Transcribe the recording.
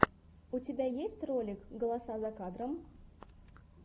у тебя есть ролик голоса за кадром